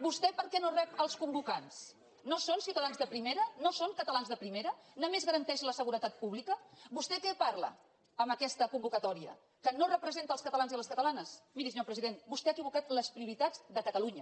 vostè per què no rep els convocants no són ciutadans de primera no són catalans de primera només garanteix la seguretat pública vostè què parla amb aquesta convocatòria que no representa els catalans i les catalanes miri senyor president vostè ha equivocat les prioritats de catalunya